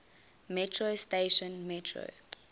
metro station metro